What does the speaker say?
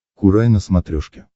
курай на смотрешке